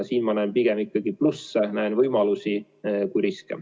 Siin ma näen pigem ikkagi plusse, näen võimalusi, mitte riske.